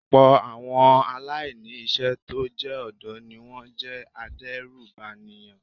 Ọ̀pọ̀ àwọn aláìní iṣẹ́ tó jẹ́ ọ̀dọ́ ni wón jẹ́ adérùbànìyàn.